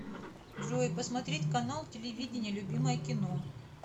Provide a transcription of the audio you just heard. джой посмотреть канал телевидения любимое кино